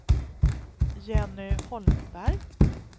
Jenny Holmberg